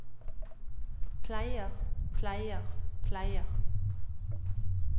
pleier pleier pleier